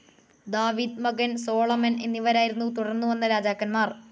ദാവീദ്, മകൻ സോളമൻ, എന്നിവരായിരുന്നു തുടർന്നു വന്ന രാജാക്കന്മാർ.